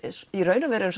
í raun og veru erum